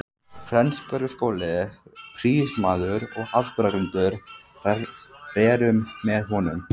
Flensborgarskóla, prýðismaður og afburðagreindur, rerum með honum.